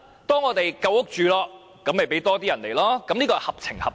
當我們有足夠房屋，便讓多些人來港，才是合情合理。